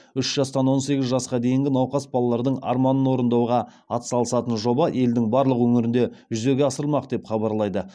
үш жастан он сегіз жасқа дейінгі науқас балалардың арманын орындауға атсалысатын жоба елдің барлық өңірінде жүзеге асырылмақ деп хабарлайды